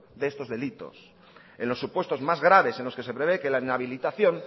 de estos delitos en los supuestos más graves en los que se prevé que la inhabilitación